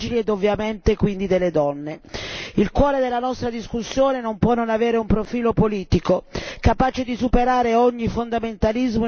Il cuore della nostra discussione non può non avere un profilo politico, capace di superare ogni fondamentalismo in una visione laica dei temi in questione.